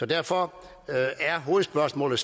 derfor er hovedspørgsmålet